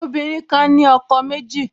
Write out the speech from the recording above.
Àwọn obìnrin kan ní ọkọ méjì